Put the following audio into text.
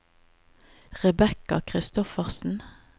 Rebekka Christoffersen